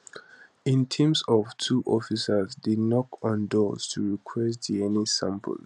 in teams of two officers dey knock on doors to request dna samples